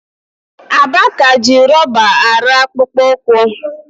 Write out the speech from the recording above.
Aba ka ji rọba arụ akpụkpọ ụkwụ.